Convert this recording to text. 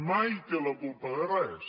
mai té la culpa de res